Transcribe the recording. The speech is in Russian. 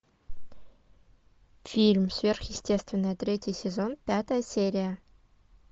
фильм сверхъестественное третий сезон пятая серия